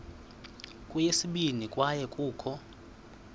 kweyesibini kwaye kukho